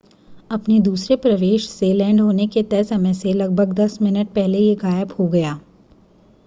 अपने दूसरे प्रवेश से लैंड होने के तय समय से लगभग दस मिनट पहले यह गायब हो गया